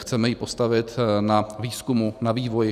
Chceme ji postavit na výzkumu, na vývoji.